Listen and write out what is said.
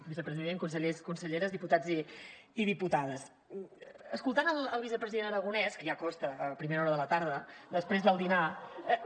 vicepresident consellers conselleres diputats i diputades escoltant el vicepresident aragonès que ja costa a primera hora de la tarda després del dinar un